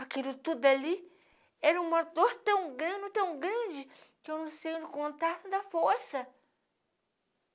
Aquilo tudo ali era um motor tão grande, mas tão grande, que eu não sei onde encontrar para dar força.